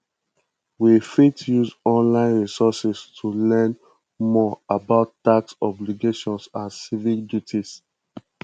we fit use online resources to learn more about tax obligations and civic duties